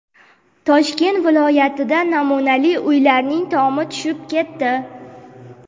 Toshkent viloyatida namunali uylarning tomi tushib ketdi.